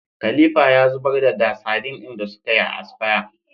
Khalifa ya zubar da da sadin din da sukayi asfaya